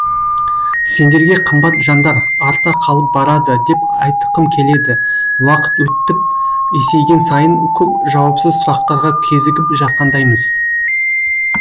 сендерге қымбат жандар арта қалып барады деп айтықым келеді уақыт өттіп есейген сайын көп жауапсыз сұрақтарға кезігіп жатқандаймыз